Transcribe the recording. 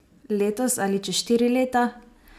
Letos ali čez štiri leta?